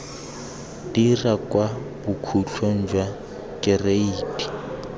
dira kwa bokhutlong jwa kereiti